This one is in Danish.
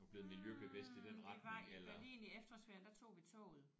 Hm vi var i Berlin i efterårsferien der tog vi toget